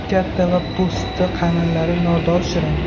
Katta va po‘sti qalinlari nordon-shirin.